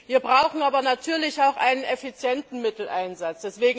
Wir brauchen aber natürlich auch einen effizienten Mitteleinsatz.